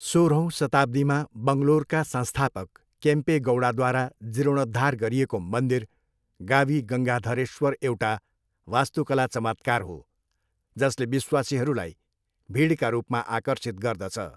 सोह्रौँ शताब्दीमा बङ्गलोरका संस्थापक केम्पे गौडाद्वारा जीर्णोद्धार गरिएको मन्दिर गावी गङ्गाधरेश्वर एउटा वास्तुकला चमत्कार हो जसले विश्वासीहरूलाई भिडका रूपमा आकर्षित गर्दछ।